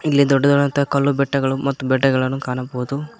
ಇಲ್ಲಿ ದೊಡ್ಡದಾದಂಥ ಕಲ್ಲು ಬೆಟ್ಟಗಳು ಮತ್ತು ಬೆಟ್ಟಗಳನ್ನು ಕಾಣಬಹುದು.